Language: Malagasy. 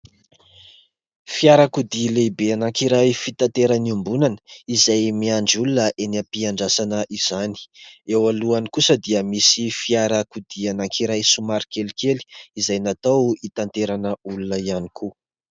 Fiarakodia lehibe anankiray fitaterana iombonana izay miandry olona eny am-piandrasana izany, eo alohany kosa dia misy fiarakodia anankiray somary kelikely izay natao hitaterana olona ihany koa.